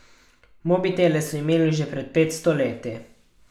Mobitele so imeli že pred petsto leti.